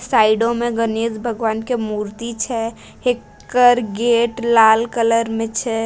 Side में गणेश भगवान की मूर्ति छै हेकर गेट लाल कलर में छै।